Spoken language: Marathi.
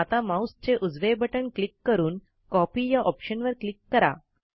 आता माऊसचे उजवे बटण क्लिक करून कॉपी या ऑप्शनवर क्लिक करा